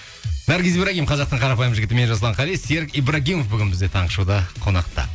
наргиз ибрагим қазақтың қарапайым жігіті мен жасұлан қали серік ибрагимов бүгін бізде таңғы шоуда қонақта